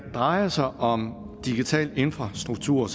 drejer sig om digital infrastruktur